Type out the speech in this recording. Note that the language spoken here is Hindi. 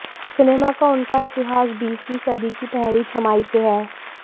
सिनेमा का उनका इतिहास बीसवीं सदी की पहली छमाही से है